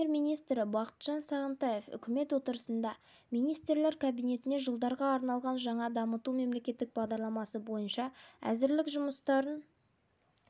премьер-министр бағдарлама жобасы түрлі алаңдарда соның ішінде аймақтарда ауыл шаруашылығы министрлігінің алқасы аясында және парламенті мәжілісінде